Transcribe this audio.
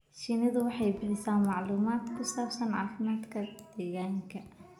Shinnidu waxay bixisaa macluumaad ku saabsan caafimaadka deegaanka.